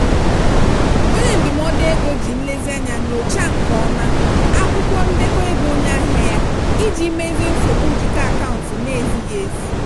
onye ndụmọdụ ego ji nlezianya nyochaa nke ọma akwụkwọ ndekọ ego onye ahịa ya iji mezie nsogbu njikọ akaụntụ na-ezighị ezi.